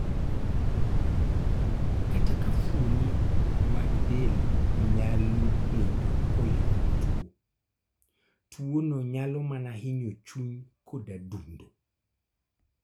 Kata ka fuoni mag del nyalo bedo kuyudo tuo, tuo no nyalo manahinyo chuny kod adundo